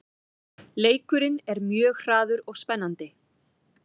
Leikurinn er mjög hraður og spennandi